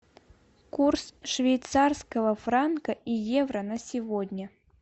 курс швейцарского франка и евро на сегодня